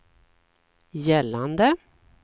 gällande